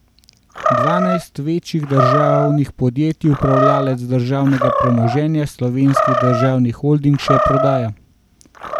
Dvanajst večjih državnih podjetij upravljavec državnega premoženja Slovenski državni holding še prodaja.